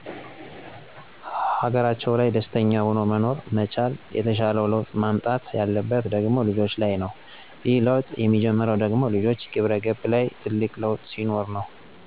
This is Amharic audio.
ሀገራቸው ላይ ደስተኛ ሁኖ መኖር መቻል። የተሻለው ለውጥ መምጣት ያለበት ደሞ ልጆች ላይ ነው። ይሄ ለውጥ የሚጀምረው ደሞ ልጆች ግብረገብ ላይ ትልቅ ለውጥ ሲኖር ነው።